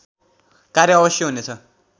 कार्य अवश्य हुनेछ